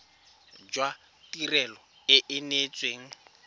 jwa tirelo e e neetsweng